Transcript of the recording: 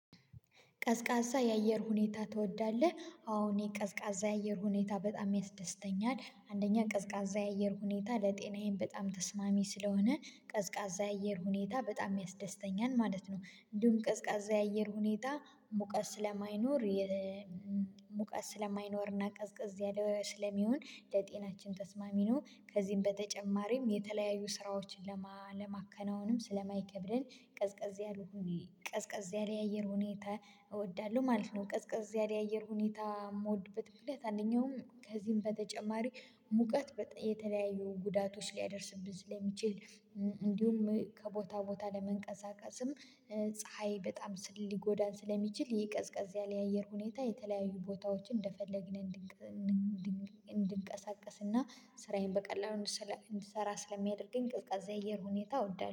ቀዝቃዛ የአየር ሁኔታ ትወዳለህ? አዎ የቀዝቃዛ የአየር ሁኔታ በጣም ያስደስተኛል። አንደኛ ቀዝቃዛ የአየር ሁኔታ ለጤናዬም በጣም ተስማሚ ስለሆነ ቀዝቃዛ የአየር ሁኔታ በጣም ያስደስተኛል ማለት ነው። እንዲሁም ቅዝቃዜ የአየር ሁኔታ ሙቀት ስለማይኖርና ቀዝቀዝ ያለ ስለሚሆን ለጤናችን ተስማሚ ነው ከዚህም በተጨማሪም የተለያዩ ስራዎችን ለማከናወንም ስለማይከብድን ቀዝቀዝ ያሉ ቀዝቀዝ ያለ የአየር ሁኔታ እወዳለሁ ማለት ነው። ቅዝቅዝ ያለ የአየር ሁኔታ የምወድበት ምክንያት አንደኛው ከዚህም በተጨማሪ ሙቀት የተለያዩ ጉዳቶች ሊያደርስብን ለሚችል እንዲሁም ከቦታ ቦታ ለመንቀሳቀስም ፀሀይ በጣም ሊጎዳን ስለሚችል ቀዝቀዝ ያለ የአየር ሁኔታ የተለያዩ ቦታዎችን እንደፈለግን እንድንቀሳቀስና ስራዬን በቀላሉ እንድሰራ ስለሚያደርገኝ ቅዝቃዜ አየር ሁኔታ እወዳለሁ።